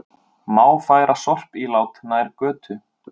Má færa sorpílát nær götu